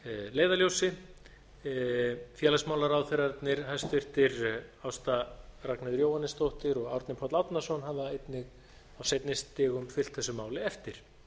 leiðarljósi og félagsmálaráðherrarnir hæstvirtur ásta ragnheiður jóhannesdóttir og árni páll árnason hafa einnig á seinni stigum fylgt þessu máli eftir